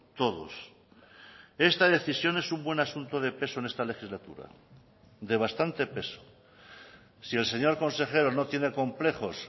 todos esta decisión es un buen asunto de peso en esta legislatura de bastante peso si el señor consejero no tiene complejos